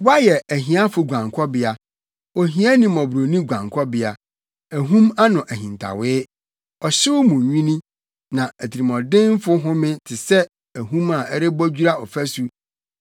Woayɛ ahiafo guankɔbea, ohiani mmɔborɔni guankɔbea, ahum ano ahintawee ɔhyew mu nwini na atirimɔdenfo home te sɛ ahum a ɛrebɔ dwira ɔfasu